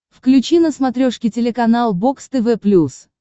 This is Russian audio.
включи на смотрешке телеканал бокс тв плюс